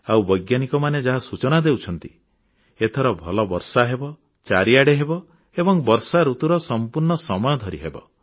ଆଉ ବୈଜ୍ଞାନିକମାନେ ଯାହା ସୂଚନା ଦେଉଛନ୍ତି ଏଥର ଭଲ ବର୍ଷା ହେବ ଚାରିଆଡ଼େ ହେବ ଏବଂ ବର୍ଷାଋତୁର ସମ୍ପୂର୍ଣ୍ଣ ସମୟ ଧରି ହେବ